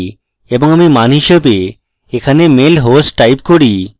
এবং আমি মান হিসাবে এখানে মেল হোস্ট type করি